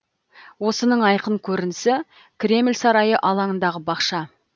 осының айқын көрінісі кремль сарайы алаңындағы бақша